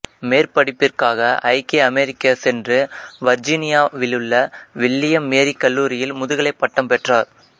மேற்படிப்பிற்காக ஐக்கிய அமெரிக்கா சென்று வர்ஜீனியாவிலுள்ள வில்லியம் மேரி கல்லூரியில் முதுகலைப் பட்டம் பெற்றார்